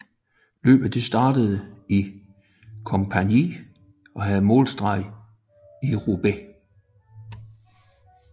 Løbet startede i Compiègne og havde målstreg i Roubaix